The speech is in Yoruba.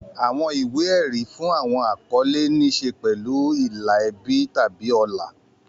Àwọn ìwé-ẹ̀rí fún àwọn àkọlé ní í ṣe pẹ̀lú ìlà ẹbí tàbí ọlá.